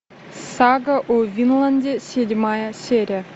сага о винланде седьмая серия